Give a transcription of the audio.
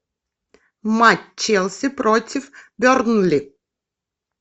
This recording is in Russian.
матч челси против бернли